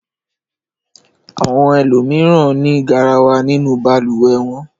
Àwọn ẹlòmíràn ní garawa nínú balùwẹ̀ wọn.